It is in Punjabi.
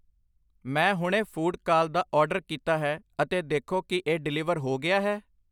ਮੈਂ ਹੁਣੇ ਫੂਡ ਕਾਲ ਦਾ ਆਰਡਰ ਕੀਤਾ ਹੈ ਅਤੇ ਦੇਖੋ ਕਿ ਇਹ ਡਿਲੀਵਰ ਹੋ ਗਿਆ ਹੈ